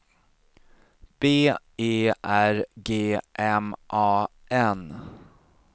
B E R G M A N